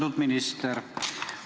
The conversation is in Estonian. Austatud minister!